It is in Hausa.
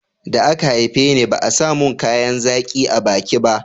da a ka haife ni ba a samun kayan zaƙi a baki ba